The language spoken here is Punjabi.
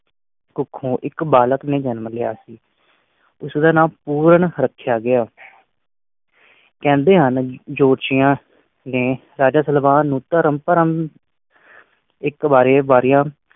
ਕੋਕਹੋਂ ਇਕ ਬਲਾਕ ਨੇ ਜਨਮ ਲਾਯਾ ਸੀ ਉਸਦਾ ਨਾਂ ਪੂਰਨ ਰੱਖਿਆ ਗਿਆ ਕਹਿੰਦੇ ਹਨ ਕਿ ਜੋਤਸ਼ੀਆ ਨੇ ਰਾਜੇ ਸਲਵਾਨ ਨੂੰ ਧਰਮ ਭਰਮ ਇਕ ਵਾਰੇ ਵਾਰਿਆ